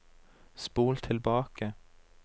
spol tilbake